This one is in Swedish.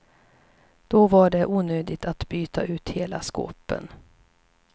Då var det onödigt att byta ut hela skåpen.